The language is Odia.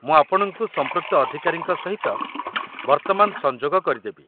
ମୁଁ ଆପଣଙ୍କୁ ସମ୍ପୃକ୍ତ ଅଧିକାରୀଙ୍କ ସହିତ ବର୍ତ୍ତମାନ ସଂଯୋଗ କରିଦେବି।